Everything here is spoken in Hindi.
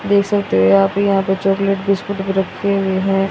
देख सकते हो यहां पे यहां पे चॉकलेट बिस्कुट भी रखे हुए हैं।